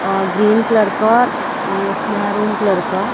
और green colour का और ऊँह महरून कलर का --